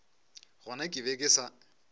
gona ke be ke sa